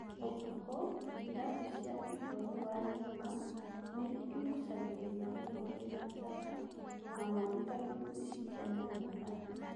ũtukũ, irabu cia igũrũ wa nyũmba nĩigucagĩrĩria mũno kwĩna njata na mweri tondũ nĩcikenagia andũ.